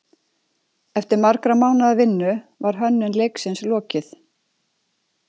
Eftir margra mánaða vinnu var hönnun leiksins lokið.